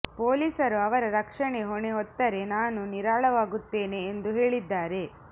ಪೊಲೀಸರು ಅವರ ರಕ್ಷಣೆ ಹೊಣೆ ಹೊತ್ತರೆ ನಾನು ನಿರಾಳವಾಗುತ್ತೇನೆ ಎಂದು ಹೇಳಿದ್ದಾರೆ